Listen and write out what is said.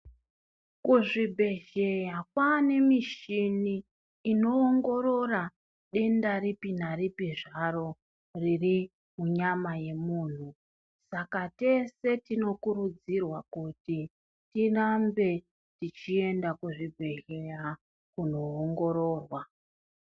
Ku zvibhedhleya kwane mishini ino ongorora denda ripi naripi zvaro riri munyama ye munhu saka tese tino kurudzirwa kuti tirambe tichi enda ku zvibhedhleya kuno ongororwa.